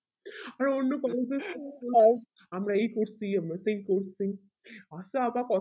হ্যাঁ অন্য collage এ আমরা এই করছি আমরা সেই করছি আজকে আবার প